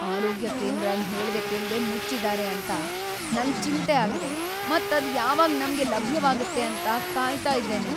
ಆರೋಗ್ಯ ಕೇಂದ್ರನ್ ಹೇಳ್ದೆ ಕೇಳ್ದೆ ಮುಚ್ಚಿದ್ದಾರೆ ಅಂತ ನಂಗ್ ಚಿಂತೆ ಆಗಿದೆ ಮತ್ ಅದ್ ಯಾವಾಗ ನಮ್ಗೆ ಲಭ್ಯವಾಗುತ್ತೆ ಅಂತ ಕಾಯ್ತಾ ಇದ್ದೇನೆ.